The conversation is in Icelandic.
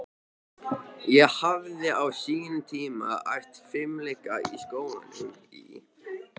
Ég hafði á sínum tíma æft fimleika í skólanum í